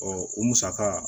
o musaka